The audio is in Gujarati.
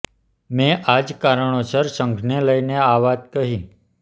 મે આ જ કારણોસર સંઘને લઇને આ વાત કહીં